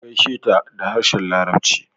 Ka gaisheta da harshen larabci